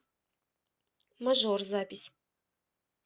мажор запись